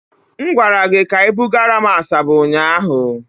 M gwara gị ka I bugara m Asaba ụnyaahụ.